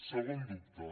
segon dubte